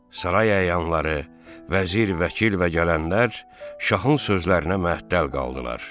Saray əyanları, vəzir, vəkil və gələnlər şahın sözlərinə məəttəl qaldılar.